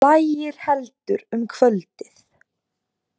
Lægir heldur um kvöldið